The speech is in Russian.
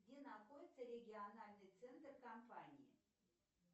где находится региональный центр компании